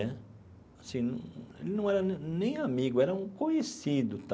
Né assim num ele não era nem amigo, era um conhecido.